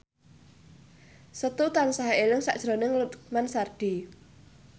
Setu tansah eling sakjroning Lukman Sardi